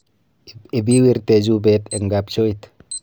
Ibiwiirte chupeet eng' kabchooit